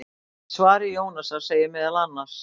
Í svari Jónasar segir meðal annars: